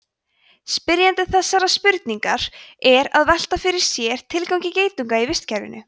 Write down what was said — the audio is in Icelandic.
spyrjandi þessarar spurningar er að velta fyrir sér tilgangi geitunga í vistkerfinu